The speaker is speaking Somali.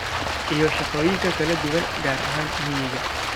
iyo shaqooyin kala duwan, gaar ahaan miyiga.